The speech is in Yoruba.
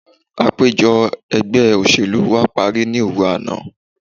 Àpèjọ ẹgbẹ́ òṣèlú wa parí ní òru àná.